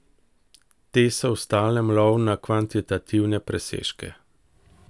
Te so v stalnem lovu na kvantitativne presežke.